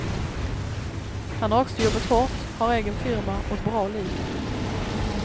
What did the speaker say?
Han har också jobbat hårt, har egen firma och ett bra liv.